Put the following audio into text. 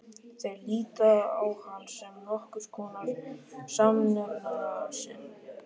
Þeir líta á hann sem nokkurs konar samnefnara sinn.